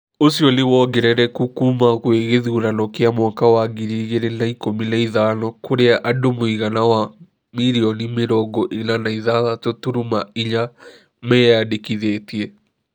Ũcio nĩ wongerereku kuuma gwĩ githurano kĩa mwaka wa ngiri igĩrĩ na ikũmi na ithano kũria andũ mũigana wa milioni mirongo ĩna na ithathatũ turuma ina menyandĩkithĩtie.